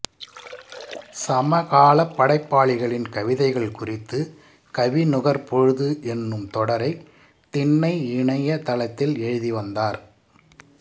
சமகாலப்படைப்பாளிகளின் கவிதைகள் குறித்து கவி நுகர் பொழுது என்னும் தொடரை திண்ணை இணைய தளத்தில் எழுதி வந்தார்